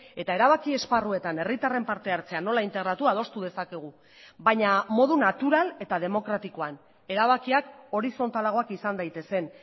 eta erabaki esparruetan herritarren parte hartzea nola integratu adostu dezakegu baina modu natural eta demokratikoan erabakiak horizontalagoak izan daitezen